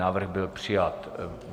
Návrh byl přijat.